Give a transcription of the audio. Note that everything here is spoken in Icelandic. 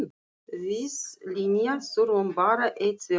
Við Linja þurfum bara einn svefnpoka.